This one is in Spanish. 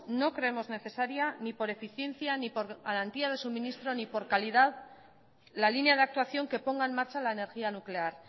no creemos necesaria ni por eficiencia ni por garantía de suministro ni por calidad la línea de actuación que ponga en marcha la energía nuclear